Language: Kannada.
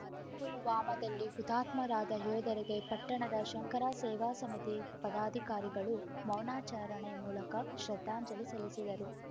ಪುಲ್ವಾಮದಲ್ಲಿ ಹುತಾತ್ಮರಾದ ಯೋಧರಿಗೆ ಪಟ್ಟಣದ ಶಂಕರ ಸೇವಾ ಸಮಿತಿ ಪದಾಧಿಕಾರಿಗಳು ಮೌನಚಾರಣೆ ಮೂಲಕ ಶ್ರದ್ಧಾಂಜಲಿ ಸಲ್ಲಿಸಿದರು